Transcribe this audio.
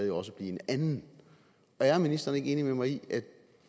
jo også blive en anden er ministeren ikke enig med mig i at